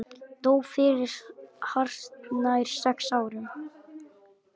Dó fyrir hartnær sex árum.